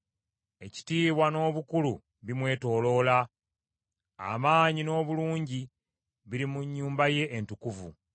Ekitiibwa n’obukulu bimwetooloola; amaanyi n’obulungi biri mu nnyumba ye entukuvu.